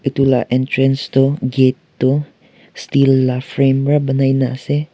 etu la entrance tu gate tu steel la frame pra banaina ase.